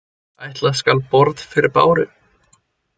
Ætla skal borð fyrir báru.